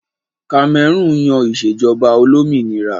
Kamẹrúùn yan ìṣèjọba olómìnira